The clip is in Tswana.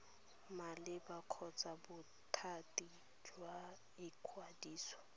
maleba kgotsa bothati jwa ikwadiso